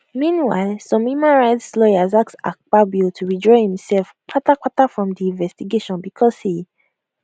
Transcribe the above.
meanwhile some human rights lawyers ask akpabio to withdraw imsef kpatakpata from di investigation bicos e